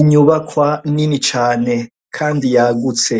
Inyubakwa nini cane kandi yagutse